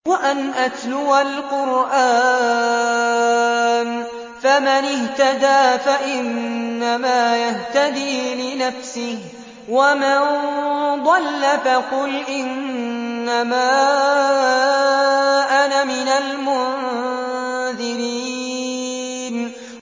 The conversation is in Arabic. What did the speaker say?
وَأَنْ أَتْلُوَ الْقُرْآنَ ۖ فَمَنِ اهْتَدَىٰ فَإِنَّمَا يَهْتَدِي لِنَفْسِهِ ۖ وَمَن ضَلَّ فَقُلْ إِنَّمَا أَنَا مِنَ الْمُنذِرِينَ